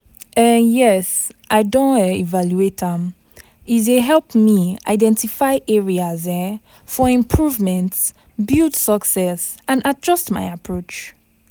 um Yes, I don um evaluate am, e dey help me identify areas um for improvement, build success and adjust my approach.